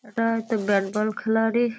এটা হয়তো bat ball খেলারই--